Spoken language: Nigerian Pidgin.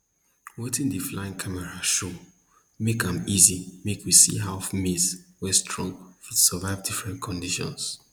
wetin di flying camera show make am easy make we see how maize wey strong fit survive different conditions